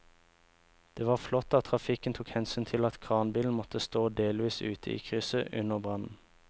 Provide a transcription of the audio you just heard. Det var flott at trafikken tok hensyn til at kranbilen måtte stå delvis ute i krysset under brannen.